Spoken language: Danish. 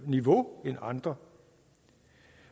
niveau end andre